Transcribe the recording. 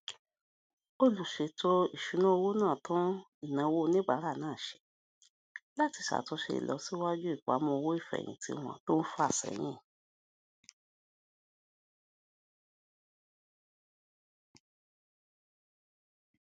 olùṣètò ìṣúnná owó náà tún ìnáwó oníbàárà náà ṣe láti ṣàtúnṣe ìlọsíwájú ìpamọ owó ìfèyìntì wọn tó ń fà séyìn